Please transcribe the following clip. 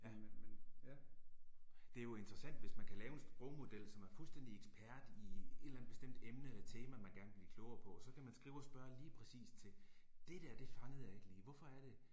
Øh. Det er jo interessant hvis man kan lave en sprogmodel som er fuldstændig ekspert i et eller andet bestemt emne eller tema man gerne vil blive klogere på, og så kan man skrive og spørge lige præcis til, det dér det fangede jeg ikke lige, hvorfor er det